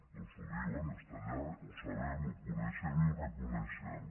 doncs ho diuen està allà ho sabem ho coneixem i ho reconeixem